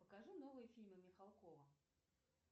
покажи новые фильмы михалкова